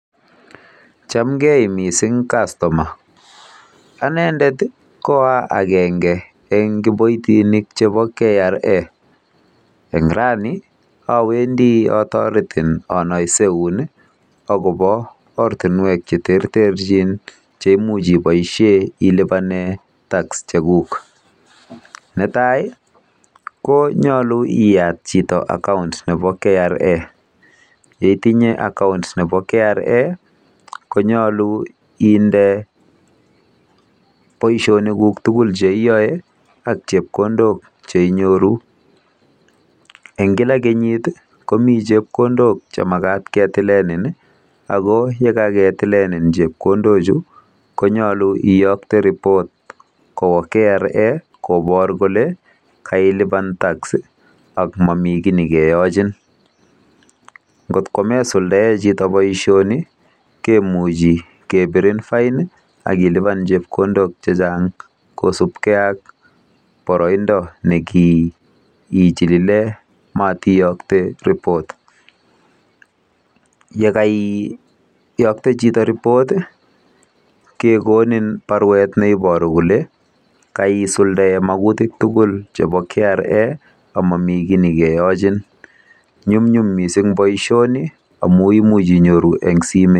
Chamgei mising kastoma. Anendet koa agenge eng kiboitinik chebo KRA. Eng rani awendi otoretin anaiseun akobo ortinwek cheterterchin cheimuch iboisie ilipane tak chekuk. Netai konyolu iyat chito akaunt nebo KRA. Yeitinye account nebo KRA konyolu inde